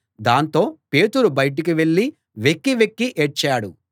దాంతో పేతురు బయటకు వెళ్ళి వెక్కి వెక్కి ఏడ్చాడు